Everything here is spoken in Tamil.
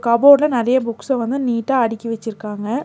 கபோட்ல நெறைய புக்ஸ வந்து நீட்டா அடிக்கி வெச்சிருக்காங்க.